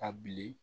A bilen